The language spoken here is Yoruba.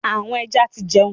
Àwọn ẹja ti jẹun.